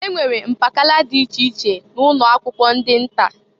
E nwere mpakala dị iche iche na ụnọ akwụkwọ ndị nta.